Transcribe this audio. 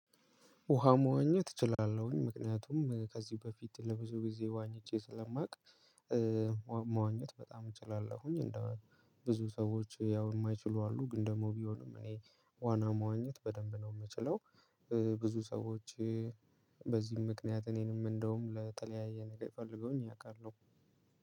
ውሃ መዋኘት እችላለሁኝ ምክንያቱም ከዚህ በፊት ለብዙ ጊዜ ዋኝቼ ስለማውቅ። መዋኘት በጣም እችላለሁኝ እንደው ብዙ ሰዎች ያው የማይችሉ አሉ ግን ደግሞ ቢሆንም እኔ ዋና መዋኘት በደንብ ነው የምችለው። ብዙ ሰዎች በዚህም ምክንያት እኔንም እንደውም ለተለያየ ነገር የፈለገውኝ ያውቃሉ።